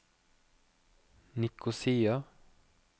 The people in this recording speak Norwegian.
Nikosia